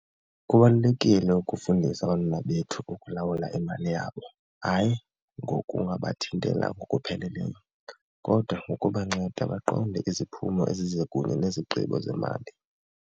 Kubalulekile ukufundisa abantwana bethu ukulawula imali yabo hayi ngokungabathintela ngokupheleleyo kodwa ngokubanceda baqonde iziphumo ezize kunye nezigqibo zemali.